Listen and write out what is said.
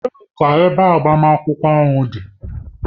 Ebee ka ebe agbamakwụkwọ ahụ dị?